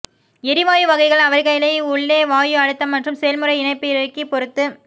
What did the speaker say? எரிவாயு வகைகள் அவர்களை உள்ளே வாயு அழுத்தம் மற்றும் செயல்முறை இணைப்பிறுக்கி பொறுத்து